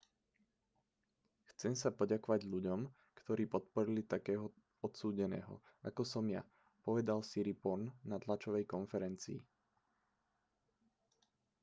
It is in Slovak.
chcem sa poďakovať ľuďom ktorí podporili takého odsúdeného ako som ja povedal siriporn na tlačovej konferencii